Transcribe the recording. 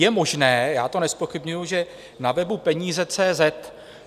Je možné - já to nezpochybňuji - že na webu Peníze.